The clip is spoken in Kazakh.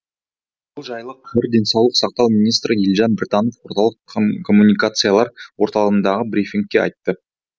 бұл жайлы қр денсаулық сақтау министрі елжан біртанов орталық коммуникациялар орталығындағы брифингте айтты